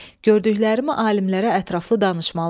Gördüklərimi alimlərə ətraflı danışmalıyam.